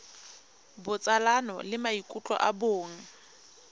botsalano le maikutlo a bong